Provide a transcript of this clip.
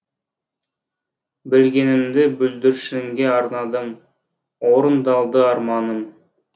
білгенімді бүлдіршінге арнадым орындалды арманым